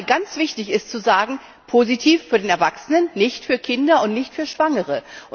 Ich denke mal, ganz wichtig ist zu sagen, positiv für den Erwachsenen, nicht für Kinder und nicht für Schwangere.